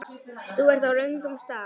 Þú ert á röngum stað